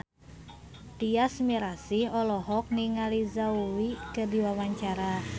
Tyas Mirasih olohok ningali Zhao Wei keur diwawancara